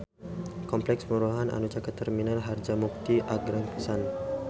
Kompleks perumahan anu caket Terminal Harjamukti agreng pisan